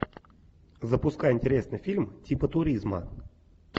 запускай интересный фильм типа туризма